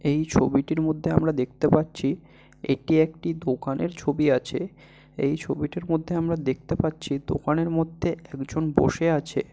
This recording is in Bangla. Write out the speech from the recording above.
এই ছবিটির মধ্যে আমরা দেখতে পাচ্ছি এটি একটি দোকানের ছবি আছে। এই ছবিটার মধ্যে আমরা দেখতে পাচ্ছি দোকানের মধ্যে একজন বসে আছে।